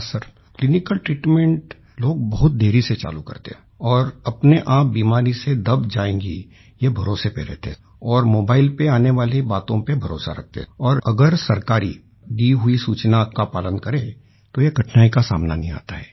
हां sir clinical treatment लोग बहुत देरी से चालू करते हैं और अपने आप बीमारी से दब जायेंगी ये भरोसे पर रहते हैं और मोबाईल पर आने वाली बातों पर भरोसा रखते हैं और अगर सरकारी दी गयी सूचना का पालन करें तो ये कठनाई का सामना नहीं आता है